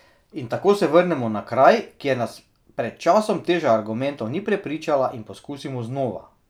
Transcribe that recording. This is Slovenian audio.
In tako se vrnemo na kraj, kjer nas pred časom teža argumentov ni prepričala, in poskusimo znova.